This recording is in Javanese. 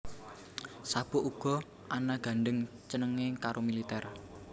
Sabuk uga ana gandheng cenenge karo militer